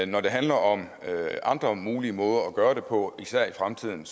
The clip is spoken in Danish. når det handler om andre mulige måder at gøre det på især i fremtiden